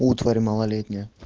утварь малолетняя